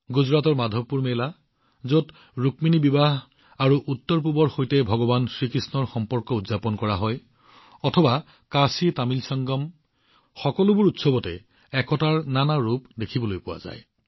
গুজৰাটৰ মাধৱপুৰ মেলাই হওক যত ৰুক্মিণীৰ বিবাহ আৰু উত্তৰপূবৰ সৈতে ভগৱান কৃষ্ণৰ সম্পৰ্ক উদযাপন কৰা হৈছে বা কাশীতামিল সংগমেই হওক এই উৎসৱবোৰত সম্প্ৰীতিৰ বিভিন্ন ৰং দেখা গৈছে